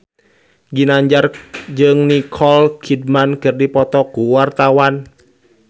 Ginanjar jeung Nicole Kidman keur dipoto ku wartawan